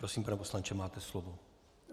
Prosím, pane poslanče, máte slovo.